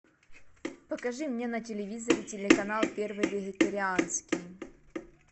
покажи мне на телевизоре телеканал первый вегетарианский